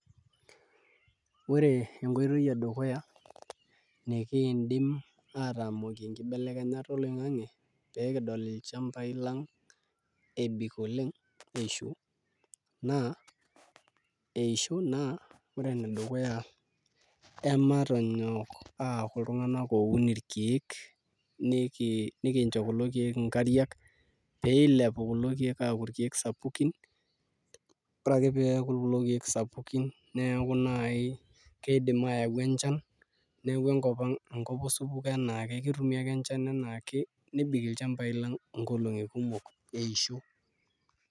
Ore entoki edukuya nikiindim aatamokie enkibelekenyata oloing'ang'e pee kidol ilchambai lang' ebik oleng' esiho naa ore enedukuya naa ematonyok aaku iltung'anak ooun irkeek nikincho kulo keek nkariak pee ilepu kulo keek aaku irkeek sapukin ore ake pee eeku kulo keek sapukin neeku naai kiidim aayau enchan neeku enkop ang' enkop osupuko enaake neeku ketumi ake enchan enaake nebik ilchambai lang' nkolong'i kumok eisho.